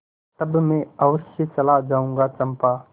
तब मैं अवश्य चला जाऊँगा चंपा